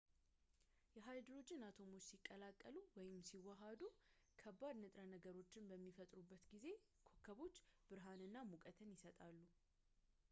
የሃይድሮጂን አቶሞች ሲቀላቀሉ ወይም ሲዋሃዱ ከባድ ንጥረ ነገሮችን በሚፈጥሩበት ጊዜ ኮከቦች ብርሃንና ሙቀት ይሰጣሉ